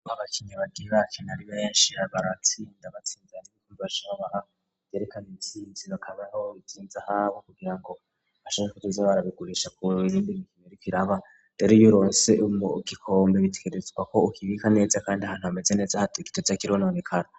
K abakinyi bati ba kinarimenshi ra baratsinda batsinzanzwikoumvashaba ayerekana intsinziro akamana w'ruzinza habo kugira ngo hashenkkajivyo barabigurisha kurizaindima kimerukiraba deri iyulonse umu gikombe bitwerezwa ko ukibika neza, kandi ahantu hameze neza hato gito za kirononekaro.